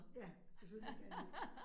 Ja, selvfølgelig skal han det